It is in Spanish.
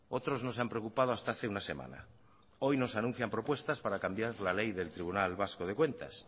otros no se han preocupado hasta hace una semana hoy nos anuncian propuestas para cambiar la ley del tribunal vasco de cuentas